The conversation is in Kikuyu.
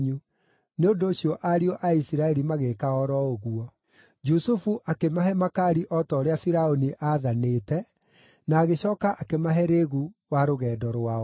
Nĩ ũndũ ũcio ariũ a Isiraeli magĩĩka o ro ũguo. Jusufu akĩmahe makaari o ta ũrĩa Firaũni aathanĩte na agĩcooka akĩmahe rĩĩgu wa rũgendo rwao.